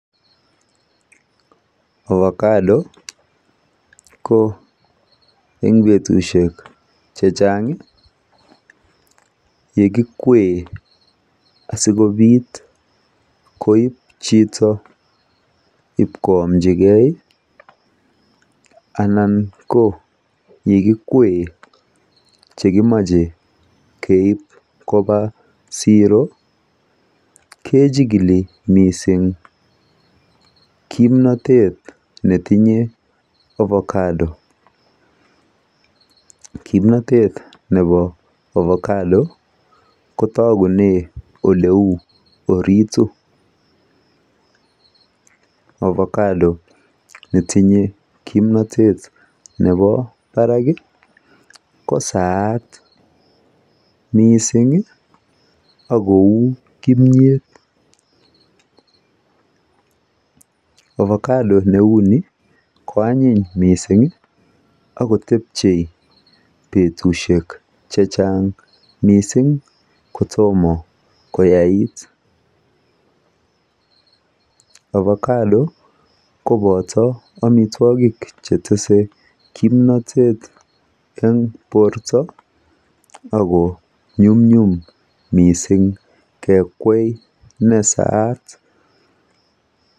Ovakado ko en betushek chechang yekikowe asikopit koib chito ip koamchikee anan ko yekikwie chekimoche Keib koba siro kechikili mising kimnotet netinye avokado kimnotet nepo avokado kotokunen ole uu oritu avokado netinye kimnotet nepo barakiyat kosaat misingi ak kou kimiet avokado neu nii koanyiny misingi akotepchei betushek chechang mising kotomo koyait avokado kopoti amitwokik chetese kimnotet en borto Ako nyumnyum mising kekwai nesaat